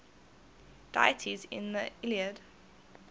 deities in the iliad